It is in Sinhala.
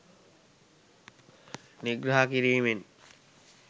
නිග්‍රහ කිරීමෙන්